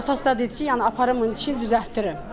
Atası da dedi ki, yəni aparım bunun dişini düzəltdirim.